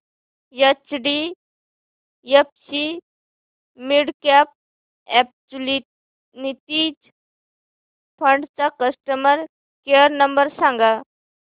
HDFC midcap opportunities fund चा customer care number सांग